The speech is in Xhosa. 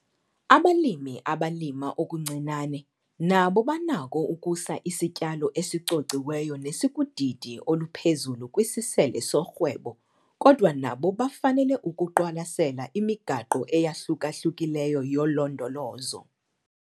Abalimi abalima okuncinane nabo banako ukusa isityalo esicociweyo nesikudidi oluphezulu kwisisele sorhwebo kodwa nabo bafanele ukuqwalasela imigaqo eyahluka-hlukileyo yolondolozo.